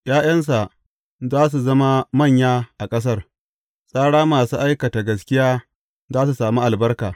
’Ya’yansa za su zama manya a ƙasar; tsaran masu aikata gaskiya za su sami albarka.